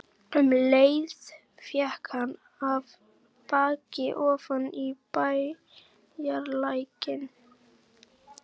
Um leið féll hann af baki ofan í bæjarlækinn.